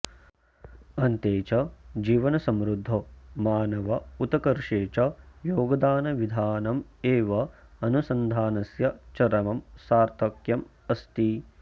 अन्ते च जीवनसमृद्धौ मानवोतकर्षे च योगदानविधानमेव अनुसन्धानस्य चरमं सार्थक्यमस्ति